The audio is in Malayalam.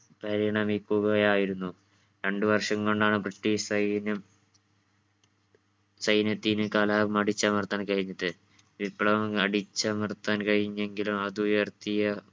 പരിണമിക്കുകയായിരുന്നു. രണ്ട് വർഷം കൊണ്ടാണ് british സൈന്യം സൈന്യത്തിന് കലാപം അടിച്ചമർത്താൻ കഴിഞ്ഞത്. വിപ്ലവം അടിച്ചമർത്താൻ കഴിഞ്ഞെങ്കിലും അത് ഉയർത്തിയ